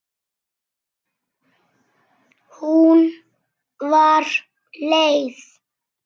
Hún var leið.